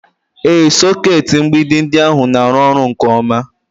Ee, sọkeetị mgbidi ndị ahụ na-arụ ọrụ nke ọma